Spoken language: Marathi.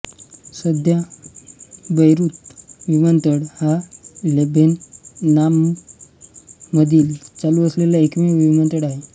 सध्या बैरूत विमानतळ हा लेबेनॉनमधील चालू असलेला एकमेव विमानतळ आहे